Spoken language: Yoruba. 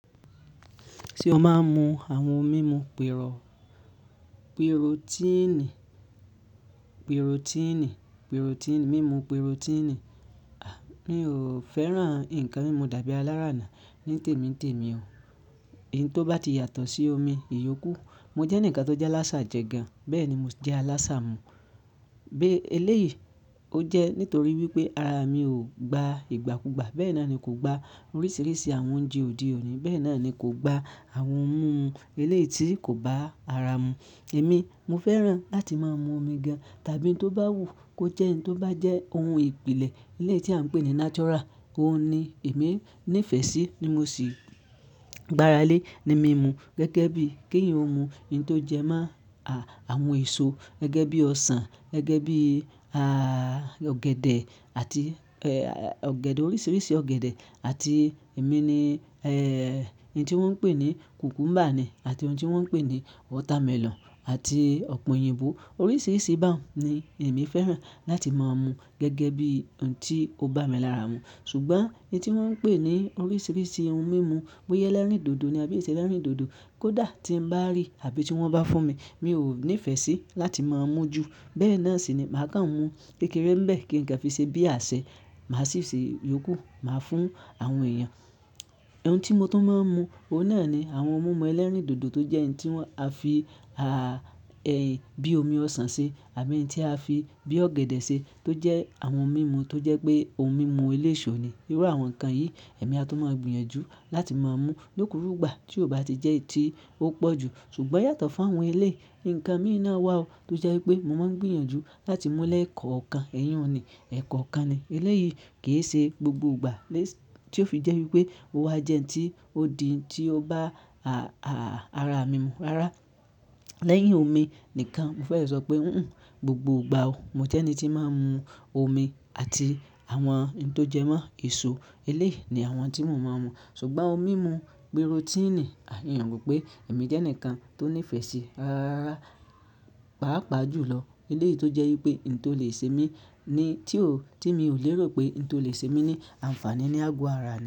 Ṣé o máa ń mu àwọn mímu pẹ̀rọ, pírótínì, pírótínì, pírótínì, mímu pírótínì? À, mi ò fẹ́ràn ǹkan mímú, dàbí alárà náá ní tèmi n tèmi o. Oun tò bá ti yàtọ̀ sí omi ìyókù, mo jẹ́ ǹkan tó jẹ́ aláṣà jẹ gan. Bẹ́ẹ̀ ni mo jẹ́ aláṣà mu. Bé eléyìí, ó jẹ́ nítorí wípé ara mi ò gba ìgbàkugba. Bẹ́ẹ̀ náà ni kò gba oríṣiríṣi àwọn oúnjẹ òde ọ̀ní. Bẹ́ẹ̀ náà ni kò gba àwọn ohun múmu eléyìí tí kò bá ara mu. Ẹ̀mí, mo fẹ́ràn láti máa mu omi gan, tàbí tó bá wù kó jẹ́ ǹ tó bá jẹ́ ohun ìpìlẹ̀ eléyìí tí à ń pè ní natural, óun ni èmi ní ìfẹ́ sí ni ti mo sì gbára lé ní mimu gẹ́gẹ́ bí kí èèyan ó mu ouǹ tó jẹ mọ́ àwọn èso, gẹ́gẹ́ bí ọsàn, gẹ́gẹ́ bí, a, ọ̀gẹ̀dẹ̀ àti, ẹ, ọ̀gẹ̀dẹ̀ oríṣiríṣi ọ̀gẹ̀dẹ̀ àti emí ni, ẹ, ouǹ tí wọ́n ń pè ní kùkúmbà ni àti ohun tí wọ́n ń pè ní watermelon àti ọ̀pè òyìnbó. Oríṣiríṣi báhun ni èmi fẹ́ràn láti máa mu gẹ́gẹ́ bí ouǹ tí ó bá mi lára mu. Ṣùgbọ́n ouǹ tí wọ́n ń pè ní oríṣiríṣi ohun mímu bóyá ẹlẹ́rìndòdò ni àbí ì ṣe ẹlẹ́rìndòdò kó dà tí ń bá rí àbí tí wọ́n bá fún mi, mi ò ní ìfẹ́ sí láti máa mú ju. Bẹ́ẹ̀ náà sì ni màá kàn mú kékeré bẹ́ẹ̀ kí nǹkan fi ṣe bí àṣẹ. Màá sì ṣe yókù, màá fún àwọn èèyàn. Ohun tí mo tún máa ń mu, òun náà ni àwọn ohun mímu ẹlẹ́rìndòdò tó jẹ́ ouǹ tí wọ́n a fi, a, ẹ, bí i omi ọsàn ṣe àbí ǹ tí a fi bí ọ̀gẹ̀dẹ̀ ṣe tó jẹ́ àwọn ohun mímu tó jẹ́ pé ohun mímu eléṣọ̀ ni. Irú àwọn ǹkan yìí èmi a tún máa gbìyànjú láti máa mú lókurùgbà tí ò bá ti jẹ́ ti ó pọ̀ jù. Ṣùgbọ́n yàtọ̀ fún àwọn eléyìí, ǹkan mìíràn wà o tó jẹ́ wípé mo máa ń gbìyànjú láti mú lẹ́ẹ̀kọ̀ọ̀kan. Ẹ̀yàn ni, ẹ̀kọ̀ọ̀kan ni. Eléyìí kì í ṣe gbogbo ìgbà lé-- tí ó fi jẹ́ wípé ó wà jẹ́ ǹ tí ó di tí ó bá, a, ara mi mú. Rárá, lẹ́yìn omi nìkan. Mo fẹ́ sọ pé, húnhùn, gbogbo ìgbà o, mo jẹ́ ẹni tí máa ń mu omi àti àwọn ǹ tó jẹ mọ́ èso. Eléyìí ni àwọn tí mò ń máa ń mu. Ṣùgbọ́n ohun mímu pírótínì, à hin ro pé èmi jẹ́ ǹkan tó ní ìfẹ́ sí ra-ra-ra, pàápàá jùlọ eléyìí tó jẹ́ wípé ǹ tó lè ṣe mí ní tí ò, tí mi ò lérò pé ouǹ tó lè ṣe mí ní àǹfààní ní àgọ́ ara ni.